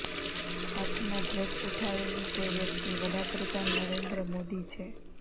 હાથમાં ધ્વજ ઉઠાવેલી તે વ્યક્તિ વડા પ્રધાન નરેન્દ્ર મોદી છે